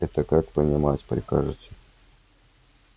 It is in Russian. это как понимать прикажете